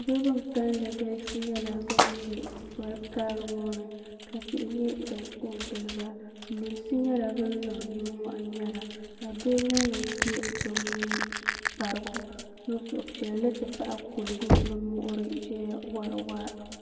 niraba bin kanli galisi nyɛla bin ʒɛ poli karili ŋɔ ni ka bihi nyɛ bin kɔ n giliba lunsi nyɛla bin niŋ nimmohi ŋmɛra ka doo nyɛ ŋun yɛ kparigu n niŋ suhupiɛlli ti pahi kuligu ni muɣuri ʒɛya wori waa